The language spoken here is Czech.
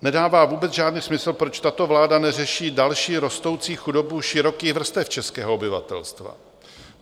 Nedává vůbec žádný smysl, proč tato vláda neřeší další rostoucí chudobu širokých vrstev českého obyvatelstva.